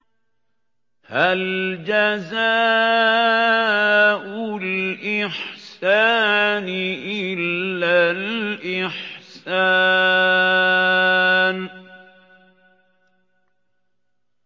هَلْ جَزَاءُ الْإِحْسَانِ إِلَّا الْإِحْسَانُ